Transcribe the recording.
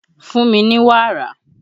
Fún mi ní wàrà!